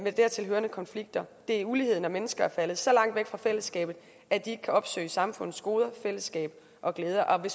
dertil hørende konflikter det er ulighed når mennesker er faldet så langt væk fra fællesskabet at de ikke kan opsøge samfundets goder fællesskab og glæder og vi